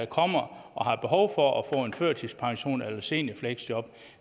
kommer og har behov for at få en førtidspension eller et seniorfleksjob